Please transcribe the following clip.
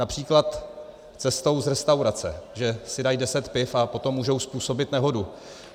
Například cestou z restaurace, že si dají deset piv, a potom můžou způsobit nehodu.